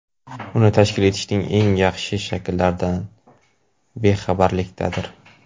uni tashkil etishning eng yaxshi shakllaridan bexabarlikdadir.